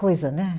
Coisa, né?